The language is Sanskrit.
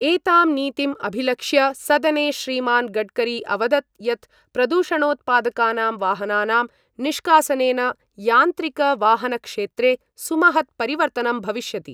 एतां नीतिम् अभिलक्ष्य सदने श्रीमान् गडकरी अवदत् यत् प्रदूषणोत्पादकानां वाहनानां निष्कासनेन यान्त्रिकवाहनक्षेत्रे सुमहत् परिवर्तनं भविष्यति।